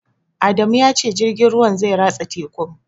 Adamu ya ce jirgin ruwan zai ratsa tekun